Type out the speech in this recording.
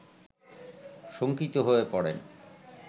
শঙ্কিত হয়ে পড়েন